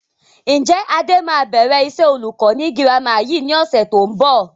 Ǹjẹ́ Adé máa bẹ̀rẹ̀ iṣẹ́ olùkọ́ ni girama yìí ni ọ̀sẹ̀ tó ń bọ̀?